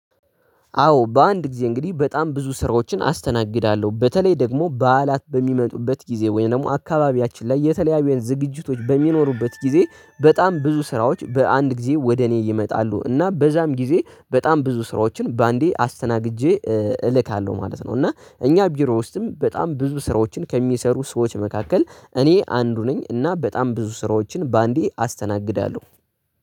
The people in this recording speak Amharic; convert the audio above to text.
አዎ በአንድ ጊዜ እንግዲህ በጣም ብዙ ስራዎችን አስተናግዳለሁ በተለይ ደግሞ በዓላት በሚመጡበት ጊዜ ወይም ደግሞ አካባቢያችን ላይ የተለያዩ የዝግጅቶች በሚኖሩበት ጊዜ በጣም ብዙ ስራዎች በአንድ ጊዜ ወደ እኔ ይመጣሉ እና በዛም ጊዜ በጣም ብዙ ስራዎችን በአንዴ አስተናግጄ እልካለሁ ማለት ነው። እና እኛ ቢሮ ውስጥም በጣም ብዙ ስራዎችን ከሚሰሩ ሰዎች መካከል እኔ አንዱ ነኝ። እና በጣም ብዙ ስራዎችን በአንዴ አስተናግዳለሁ